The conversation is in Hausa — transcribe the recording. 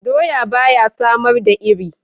Doya ba ya samar da iri.